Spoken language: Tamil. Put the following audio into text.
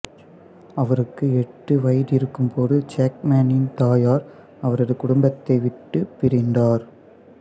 அவருக்கு எட்டு வயதிருக்கும் போது ஜேக்மேனின் தாயார் அவரது குடும்பத்தை விட்டுப் பிரிந்தார்